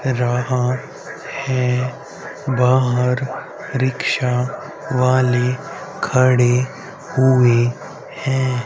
रहा है बाहर रिक्शा वाले खड़े हुए हैं।